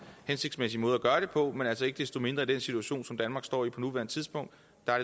hensigtsmæssige måde at gøre det på men altså ikke desto mindre i den situation som danmark står i på nuværende tidspunkt